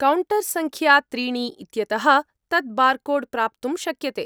Counter सङ्ख्या त्रीणि इत्यतः तत् बार्कोड्‍ प्राप्तुं शक्यते।